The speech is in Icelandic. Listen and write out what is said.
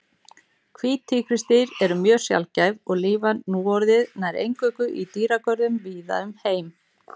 Hvít tígrisdýr eru mjög sjaldgæf og lifa núorðið nær eingöngu í dýragörðum víða um heim.